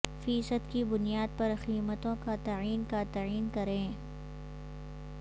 فی صد کی بنیاد پر قیمتوں کا تعین کا تعین کریں